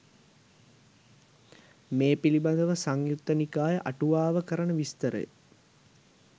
මේ පිළිබඳව සංයුක්ත නිකාය අටුවාව කරන විස්තරය